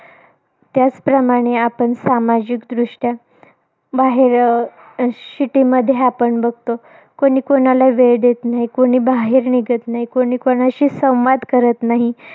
त्याचप्रमाणे आपण सामाजिकदृष्ट्या, बाहेर अं आपण city मध्ये बघतो. कुणी कुणाला वेळ देत नाही. कुणी बाहेर निघत नाही. कुणी कुणाशी संवाद करत नाही.